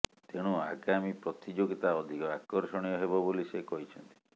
ତେଣୁ ଆଗାମୀ ପ୍ରତିଯୋଗିତା ଅଧିକ ଆକର୍ଷଣୀୟ ହେବ ବୋଲି ସେ କହିଛନ୍ତି